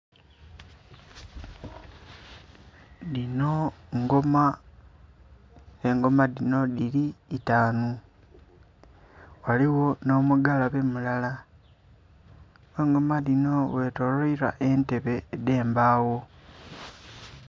Dhino ngoma, engoma dhino dhili itanu ghaligho nho mugalabe mulala ghe engoma dhino ghe tolwailwa entebe edhe mbagho.